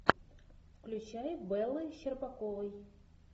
включай беллой щербаковой